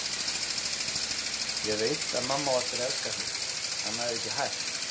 Ég veit að mamma á eftir að elska þig, annað er ekki hægt.